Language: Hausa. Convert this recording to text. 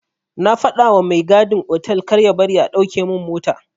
Na fadawa mai gadin otal karya bari a dauke min mota.